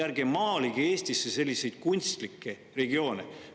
Ärge maalige Eestisse selliseid kunstlikke regioone!